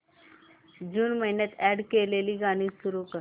जून महिन्यात अॅड केलेली गाणी सुरू कर